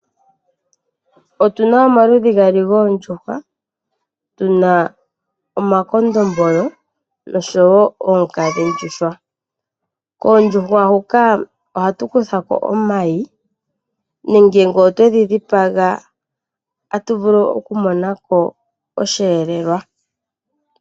Otuna omaludhi gaali gondjuhwa tuna omakondombolo noonkadhi ndjuhwa. Koondjuhwa huka ohatu kuthako omayi nenge nge otwedhi dhipaga atu vulu okumona ko oshiyelelwa.